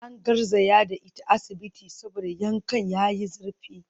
An garzaya da ita asibiti saboda yankan yayi zurfi